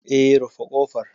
Eh, rufe ƙofar.